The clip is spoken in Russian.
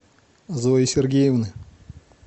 зои сергеевны